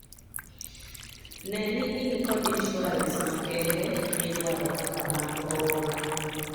Ne ni in kod insuarens makende midwaro kaka mag oula.